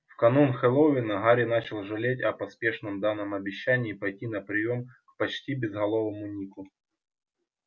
в канун хэллоуина гарри начал жалеть о поспешно данном обещании пойти на приём к почти безголовому нику